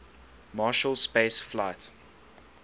marshall space flight